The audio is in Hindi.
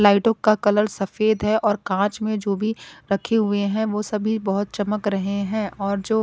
लाइटों का कलर सफेद है और कांच में जो भी रखे हुए हैं वो सभी बहोत चमक रहे हैं और जो--